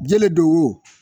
Jɛnɛ don o